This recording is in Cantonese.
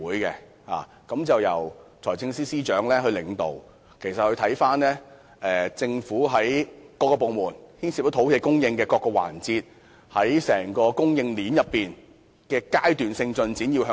督導委員會由財政司司長領導，負責審視政府各部門牽涉土地供應的計劃，並須向財政司司長匯報土地供應的階段性進展。